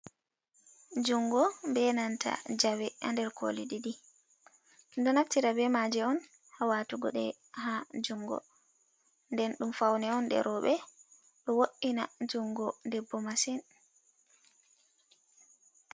Jungo be nanta jawe nder koli ɗiɗi, do naftira be maje on ha watugo ɗe ha jungo, nden ɗum faun on ɗe roɓe ɗo wo’ina jungo debbo masin.